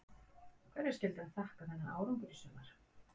Hverju skyldi hann þakka þennan árangur í sumar?